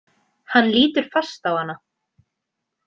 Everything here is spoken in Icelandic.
Hann lítur fast á hana.